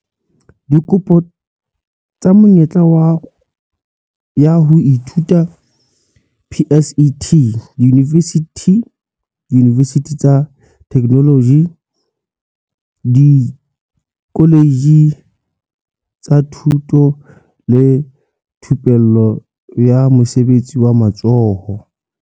Dikopo tsa menyetla ya ho ithuta ya PSET diyunivesithi, diyunivesithi tsa Theknoloji, dikoletje tsa Thuto le Thupello ya Mosebetsi wa Matsoho